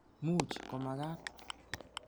Much ko makat